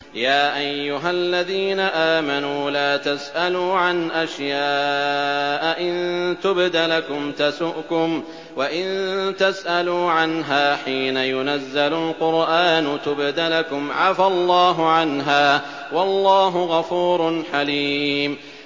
يَا أَيُّهَا الَّذِينَ آمَنُوا لَا تَسْأَلُوا عَنْ أَشْيَاءَ إِن تُبْدَ لَكُمْ تَسُؤْكُمْ وَإِن تَسْأَلُوا عَنْهَا حِينَ يُنَزَّلُ الْقُرْآنُ تُبْدَ لَكُمْ عَفَا اللَّهُ عَنْهَا ۗ وَاللَّهُ غَفُورٌ حَلِيمٌ